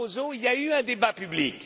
Barroso, il y a eu un débat public.